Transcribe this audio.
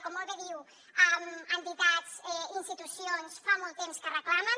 com molt bé diu entitats i institucions fa molt temps que ho reclamen